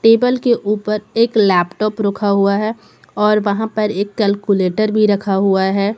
Table के ऊपर एक लैपटॉप रखा हुआ है और वहां पर एक कैलकुलेटर भी रखा हुआ है।